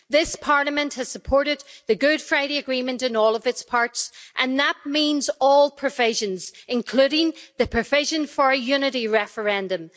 This Parliament has supported the Good Friday Agreement in all of its parts, and that means all the provisions, including the provision for a unity referendum.